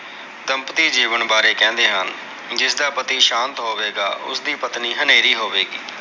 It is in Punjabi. ਤਮਪਤੀ ਜੀਵਨ ਬਾਰੇ ਕਹਿੰਦੇ ਹਨ। ਜਿਸਦਾ ਪਤੀ ਸ਼ਾਂਤ ਹੋਵੇਗਾ, ਉਸ ਦੀ ਪਤਨੀ ਹਨੇਰੀ ਹੋਵੇਗੀ।